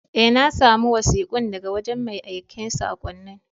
Eh, na samu wasikun daga wajen mai aikan sakonnin.